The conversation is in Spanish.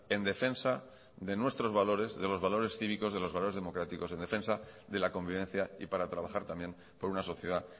en defensa de nuestros valores de los valores cívicos de los valores democráticos en defensa de la convivencia y para trabajar también por una sociedad